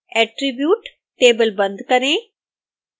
attribute table बंद करें